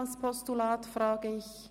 –Dies scheint der Fall zu sein.